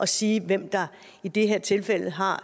sige hvem der i det her tilfælde har